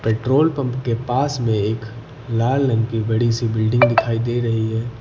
Petrol pump के पास में एक लाल रंग की बड़ी सी बिल्डिंग दिखाई दे रही है।